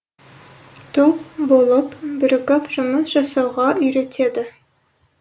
топ болып бірігіп жұмыс жасауға үйретеді